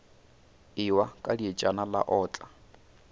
ewa ka dietšana la otla